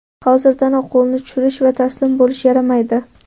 Hozirdanoq qo‘lni tushirish va taslim bo‘lish yaramaydi.